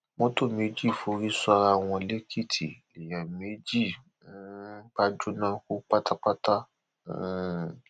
motor méjì forí sọra wọn lọnà èkìtì lèèyàn méjì um bá jóná kú pátápátá um